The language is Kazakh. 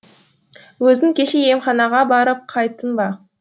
өзің кеше емханаға барып қайттың ба